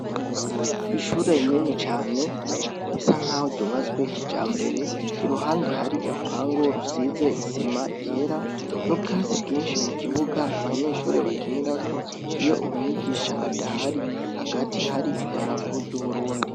Ishure rinini cane risa nkaho ryubatswe kijambere, iruhande hari urupangu rusize isima ryera n'ubwatsi bwinshi mu kibuga abanyeshuri bakinirako iyo umwigisha adahari, hagati hari idarapo ry'Uburundi.